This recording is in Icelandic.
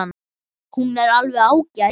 Hún er alveg ágæt.